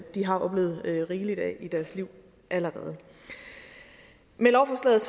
har oplevet rigeligt af i deres liv allerede med lovforslaget